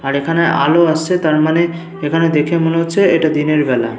আর এখানে আলো আসছে। তার মানে এখানে দেখে মনে হচ্ছে এটা দিনের বেলা।